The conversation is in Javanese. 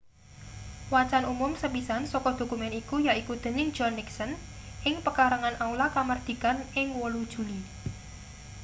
wacan umum sepisan saka dokumen iku yaiku dening john nixon ing pekarangan aula kamardikan ing 8 juli